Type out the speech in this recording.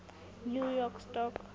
new york stock